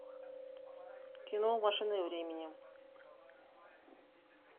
кино машина времени